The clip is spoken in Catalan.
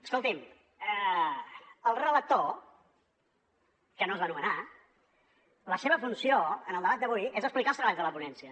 escoltin el relator que no es va nomenar la seva funció en el debat d’avui és explicar els treballs de la ponència